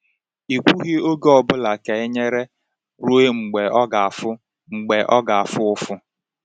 “I kwughị oge ọ bụla ka e nyere ruo mgbe ọ ga-afụ mgbe ọ ga-afụ ụfụ.”